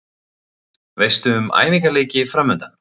Veistu um æfingaleiki framundan?